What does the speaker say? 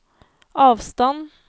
avstand